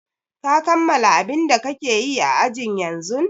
Ka kammala abin da kake yi a ajin yanzun!